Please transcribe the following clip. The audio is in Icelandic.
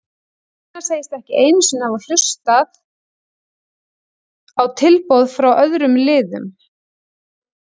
Gunnar segist ekki einu sinni hafa hlustað hlustað á tilboð frá öðrum liðum.